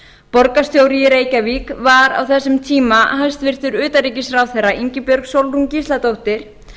borgarstjóri í reykjavík var á þessum tíma hæstvirts utanríkisráðherra ingibjörg sólrún gísladóttir